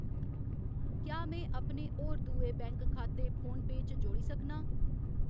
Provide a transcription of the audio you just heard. क्या में अपने होर दुए बैंक खाते फोनपेऽ च जोड़ी सकनां ?